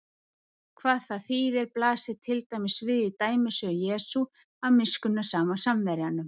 Hvað það þýðir blasir til dæmis við í dæmisögu Jesú af miskunnsama Samverjanum.